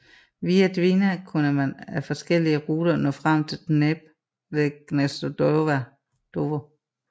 Via Dvina kunne man ad forskellige ruter nå frem til Dnepr ved Gnezdovo